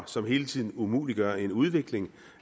som hele tiden umuliggør en udvikling